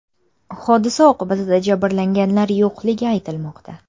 Hodisa oqibatida jabrlanganlar yo‘qligi aytilmoqda.